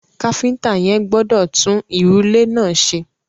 Káfíntà yẹn gbọdọ̀ tun ìrùlé náà ṣe.